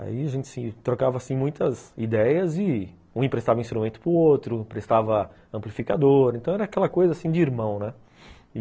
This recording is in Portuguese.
Aí a gente trocava, assim, muitas ideias e um emprestava instrumento para o outro, emprestava amplificador, então era aquela coisa, assim, de irmão, né?